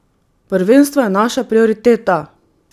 Prvenstvo je naša prioriteta.